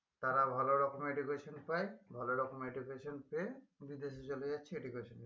তারা ভালো রকমের education পাই ভালো রকম education পেয়ে বিদেশে চলে যাচ্ছে education নিয়ে